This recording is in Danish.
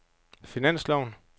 finansloven